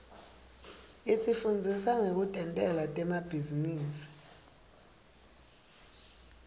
isifundzisa nekutentela temabhizinisi